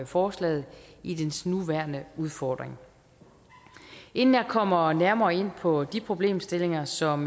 forslaget i dets nuværende udformning inden jeg kommer nærmere ind på de problemstillinger som